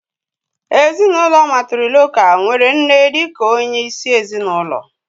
Ezinụlọ mátrịlokál nwere nne dị ka onye isi ezinụlọ